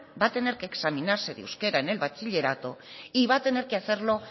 va a tener que examinarse de euskera en el bachillerato y va a tener que hacerlo